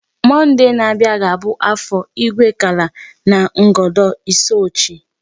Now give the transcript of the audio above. Monday n'abịa ga-abụ Afọ Igwekala na Ngodo Isuochi.